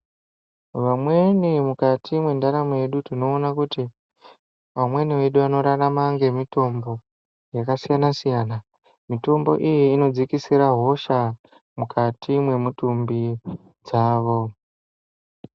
Vamweni mukati mwendaramo yedu tinoona kuti vamwenu vedu vanorarama ngemitombo yakasiyana-siyana. Mitombo iyi inodzikisira hosha mukati mwemutumbi dzavo.